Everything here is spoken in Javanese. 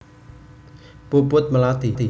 Puput Melati